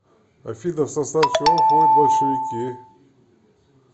афина в состав чего входит большевики